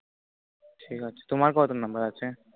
ঠিক আছে তোমার কয়টা number আছে